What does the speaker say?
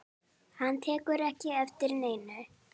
Hann tekur ekki eftir neinu.